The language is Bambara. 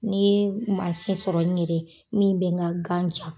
Ni ye mansi sɔrɔ n yɛrɛ min bɛ ŋa gan ja